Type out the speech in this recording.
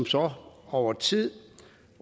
så over tid